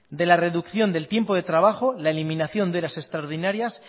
de la reducción del tiempo de trabajo la eliminación de las horas extraordinarias